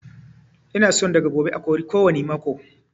Ina son daga gobe a kori kowani makaho